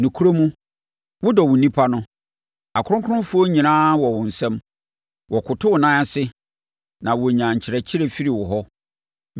Nokorɛ mu, wo wodɔ wo nnipa no, akronkronfoɔ nyinaa wɔ wo nsam. Wɔkoto wo nan ase, na wɔnya nkyerɛkyerɛ firi wo hɔ;